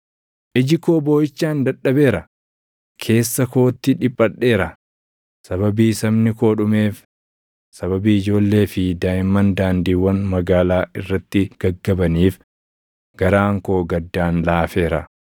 Iji koo booʼichaan dadhabeera; keessa kootti dhiphadheera; sababii sabni koo dhumeef sababii ijoollee fi daaʼimman daandiiwwan magaalaa irratti gaggabaniif garaan koo gaddaan laafeera.